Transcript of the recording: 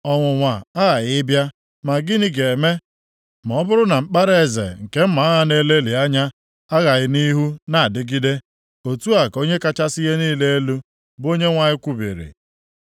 “ ‘Ọnwụnwa aghaghị ịbịa. Ma gịnị ga-eme, ma ọ bụrụ na mkpara eze nke mma agha na-elelị anya, agaghị nʼihu na-adịgide? Otu a ka Onye kachasị ihe niile elu, bụ Onyenwe anyị kwubiri.’